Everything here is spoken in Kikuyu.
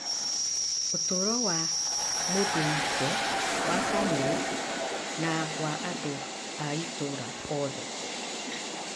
ũtũũro wa mũndũ wike, wa bamĩrĩ, na wa andũ a itũũra othe.